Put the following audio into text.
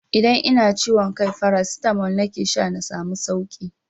Idan ina ciwon kai farasitamol nake sha na samu sauki.